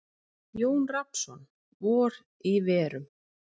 Jón Rafnsson: Vor í verum.